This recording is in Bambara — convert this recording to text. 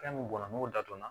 Fɛn min bɔnna n'o dadon na